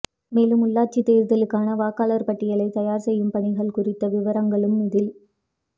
மேலும் உள்ளாட்சி தேர்தலுக்கான வாக்காளர் பட்டியலை தயார் செய்யும் பணிகள் குறித்த விவரங்களும் இதில்